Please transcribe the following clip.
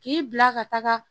K'i bila ka taga